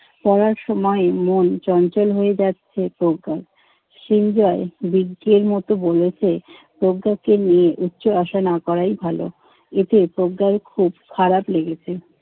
পড়ার সময় মন চঞ্চল হয়ে যাচ্ছে প্রজ্ঞার। সিঞ্জয় বিজ্ঞের মত বলেছে, প্রজ্ঞাকে নিয়ে উচ্চ আশা না করাই ভালো। এতে প্রজ্ঞার খুব খারাপ লেগেছে।